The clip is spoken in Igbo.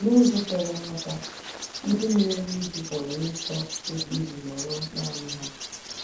N'ụzọ kwere nghọta, ndị na-eru uju pụrụ ịchọ oge iji nọrọ nanị ha.